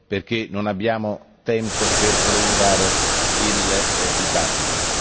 perché non abbiamo tempo per prolungare il dibattito.